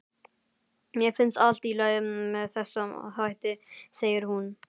Mér finnst allt í lagi með þessa þætti, segir hún.